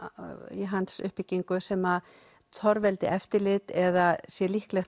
í hans uppbyggingu sem torveldi eftirlit eða sé líklegt